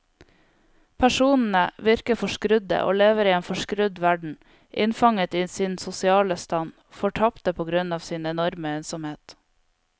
Personene virker forskrudde og lever i en forskrudd verden, innfanget i sin sosiale stand, fortapte på grunn av sin enorme ensomhet.